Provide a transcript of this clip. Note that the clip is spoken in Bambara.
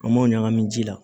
An m'o ɲagami ji la